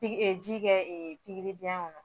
Piki ji kɛ pikiri biyɛn kɔnɔ